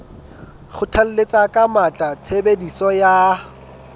kgothalletsa ka matla tshebediso ya